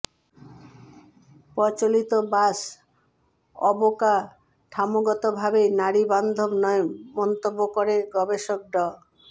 প্রচলিত বাস অবকাঠামোগতভাবেই নারী বান্ধব নয় মন্তব্য করে গবেষক ড